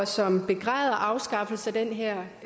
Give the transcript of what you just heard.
som begræder afskaffelsen af den her